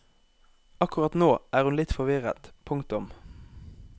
Akkurat nå er hun litt forvirret. punktum